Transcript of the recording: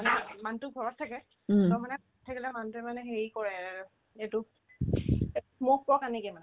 মানুহতো ঘৰত থাকে তাৰ মানে সেইদিনা মানুহতোয়ে মানে হেৰি কৰে এইটো মোক কোৱা কাৰণে কিমান